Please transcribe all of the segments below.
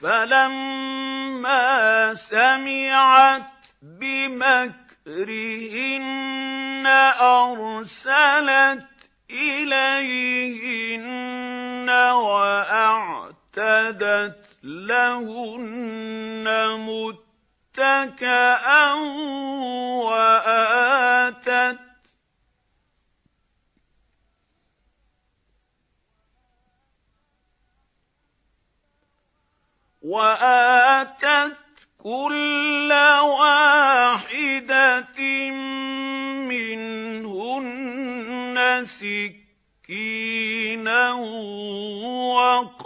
فَلَمَّا سَمِعَتْ بِمَكْرِهِنَّ أَرْسَلَتْ إِلَيْهِنَّ وَأَعْتَدَتْ لَهُنَّ مُتَّكَأً وَآتَتْ كُلَّ وَاحِدَةٍ مِّنْهُنَّ سِكِّينًا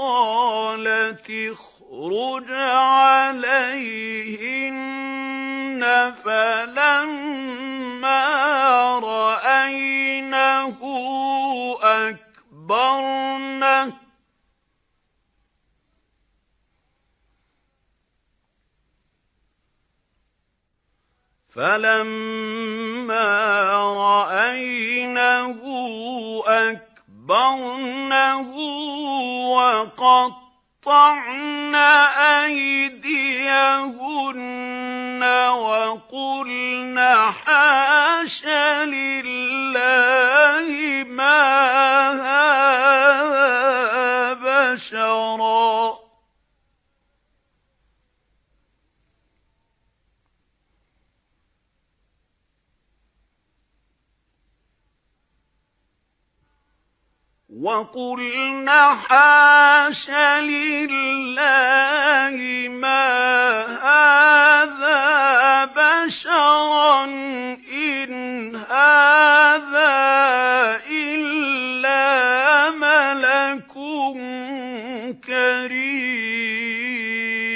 وَقَالَتِ اخْرُجْ عَلَيْهِنَّ ۖ فَلَمَّا رَأَيْنَهُ أَكْبَرْنَهُ وَقَطَّعْنَ أَيْدِيَهُنَّ وَقُلْنَ حَاشَ لِلَّهِ مَا هَٰذَا بَشَرًا إِنْ هَٰذَا إِلَّا مَلَكٌ كَرِيمٌ